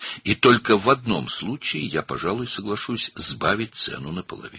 Və yalnız bir halda, yəqin ki, qiyməti yarıya endirməyə razı olaram.